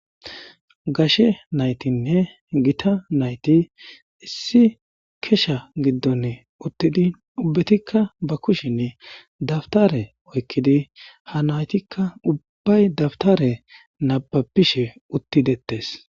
gashe naytinne gita nayti issi kesha giddon uttidi ubbetikka ba kushinn dabtare oykkidi ha naytikka ubbay dabtare nababishe uttidettes